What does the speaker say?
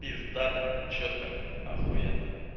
пиздата чётко ахуенно